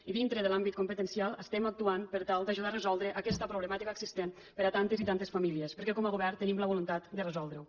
i dintre de l’àmbit competencial estem actuant per tal d’ajudar a resoldre aquesta problemàtica existent per a tantes i tantes famílies perquè com a govern tenim la voluntat de resoldre ho